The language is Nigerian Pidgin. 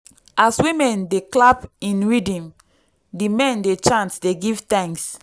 as women dey clap in rhythm di men dey chant dey give thanks.